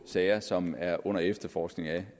sager som er under efterforskning af